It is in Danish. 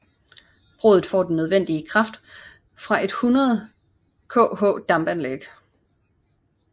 Brudet får den nødvendige kraft fra et 100 KH dampanlæg